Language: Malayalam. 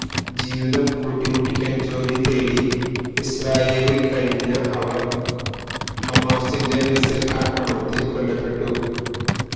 ജീവിതം കൂട്ടിമുട്ടിക്കാന് ജോലി തേടി ഇസ്രയേലില് കഴിഞ്ഞ അവര് ഹമാസിന്റെ മിസൈല് ആക്രമണത്തില് കൊല്ലപ്പെട്ടു